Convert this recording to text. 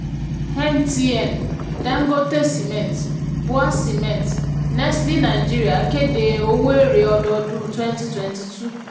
mtn dangote cement bua cement nestle nigeria kéde owó èrè ọdọọdún twenty twenty two